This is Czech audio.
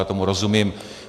Já tomu rozumím.